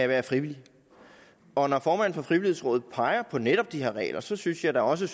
være frivillig og når formanden for frivilligrådet peger på netop de her regler så synes jeg da også